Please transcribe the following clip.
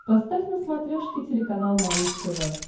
поставь на смотрешке телеканал малыш тв